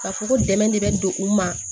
Ka fɔ ko dɛmɛ de bɛ n don u ma